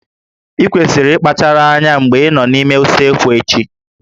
Ị kwesịrị ịkpachara anya mgbe ị nọ n'ime usekwu echi